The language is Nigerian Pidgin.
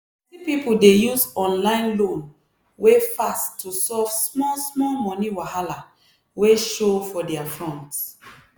plenty people dey use online loan wey fast to solve small-small money wahala wey show for their front.